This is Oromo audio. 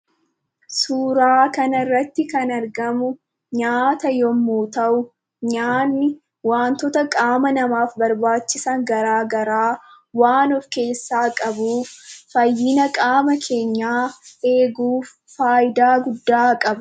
Suuraa kanarratti kan argamu nyaata yommuu ta'u nyaanni waantota qaama namaaf barbaachisan garaa garaa waan of keessaa qabuuf fayyina qaama keenyaa eeguuf faayidaa guddaa qaba.